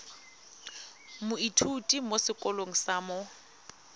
moithuti mo sekolong sa mo